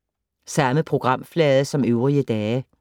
Samme programflade som øvrige dage